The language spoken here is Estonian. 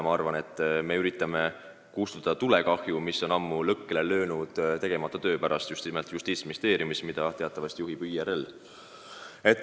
Ma arvan, et me üritame kustutada tulekahju, mis on ammu puhkenud tegemata töö pärast just nimelt Justiitsministeeriumis, mida teatavasti juhib IRL.